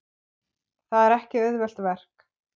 Það er ekki auðvelt verk.